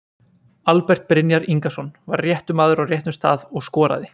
Albert Brynjar Ingason var réttur maður á réttum stað og skoraði.